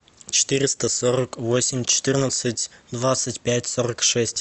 четыреста сорок восемь четырнадцать двадцать пять сорок шесть